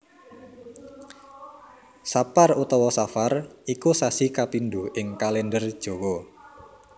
Sapar utawa Safar iku sasi kapindho ing Kalèndher Jawa